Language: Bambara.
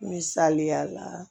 Misaliya la